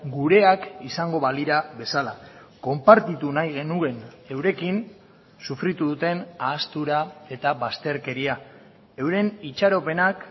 gureak izango balira bezala konpartitu nahi genuen eurekin sufritu duten ahaztura eta bazterkeria euren itxaropenak